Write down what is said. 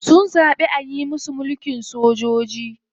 Sun zaɓi ayi musu mulkin sojoji.